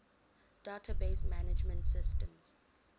database management systems